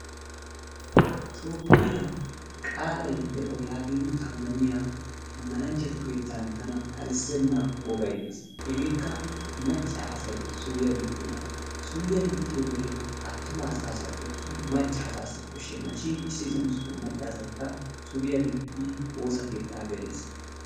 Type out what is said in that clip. Toophphiya qaalay de'o yaagiidi amaniya amananchatu keettan tan kalissena wogay dees. Hegeekka macca asay suriya gixxiyoogaa, suriyaa gixxiyoogee attuma asaasappe attin macca asaas koshshenna shin issitoo maccaasaykka suriyaa gixxidi woosa keettaa gelees.